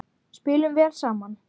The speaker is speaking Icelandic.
Spilum vel saman.